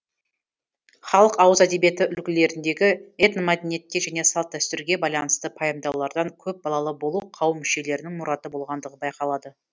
халық ауыз әдебиеті үлгілеріндегі этномәдениетке және салт дәстүрге байланысты пайымдаулардан көп балалы болу қауым мүшелерінің мұраты болғандығы байқалады